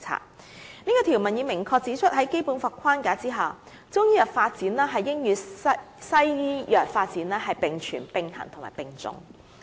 "此項條文已明確指出在《基本法》框架下，中醫藥發展應與西醫藥發展並存、並行和並重。